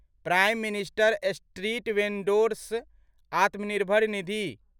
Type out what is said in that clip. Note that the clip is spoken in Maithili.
prime minister street vendor's Atmanirbhar Nidhi